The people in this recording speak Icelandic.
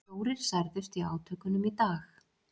Fjórir særðust í átökunum í dag